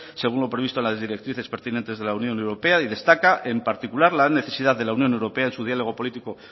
según lo previsto en las directrices pertinentes de la unión europea y destaca en particular la necesidad de la unión europea en su diálogo político